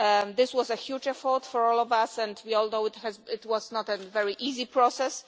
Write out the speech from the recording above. This was a huge effort for all of us and we all know it was not a very easy process.